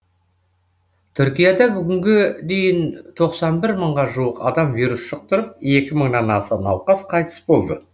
түркияда бүгінге дейін тоқсан бір мыңға жуық адам вирус жұқтырып екі мыңнан аса науқас қайтыс болды